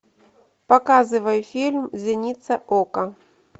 показывай фильм зеница ока